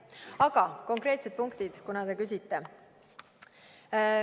Aga konkreetsed punktid, kuna te küsite.